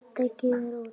Skrudda gefur út.